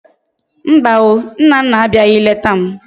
Mba o! Nnanna abiaghi leta m